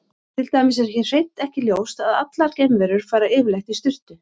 Til dæmis er hér hreint ekki ljóst að allar geimverur fari yfirleitt í sturtu.